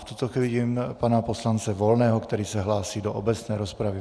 V tuto chvíli vidím pana poslance Volného, který se hlásí do obecné rozpravy.